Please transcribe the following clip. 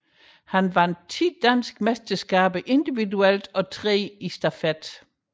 Han vandt ti danske mesterskaber individuelt og tre i stafet